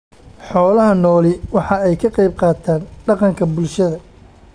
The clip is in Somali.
Xoolaha nooli waxa ay ka qayb qaataan dhaqanka bulshada.